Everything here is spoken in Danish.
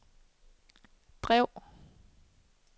drev